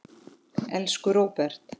Elsku Róbert.